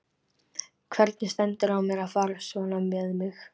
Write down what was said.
Hvernig stendur á mér að fara svona með mig?